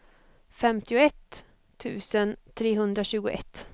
femtioett tusen trehundratjugoett